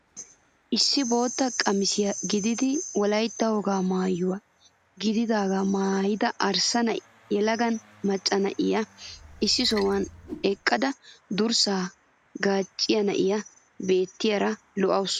Issi bootta qamisiyaa gididi wolaytta wogaa maayuwaa gididagaa maayida arssa yelaga macca na'iyaa issi sohuwaan eqqada durssaa gaacciyaa na'iyaa beettiyara lo"awus.